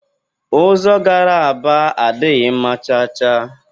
Ụzọ gara Aba adịghị mma cha cha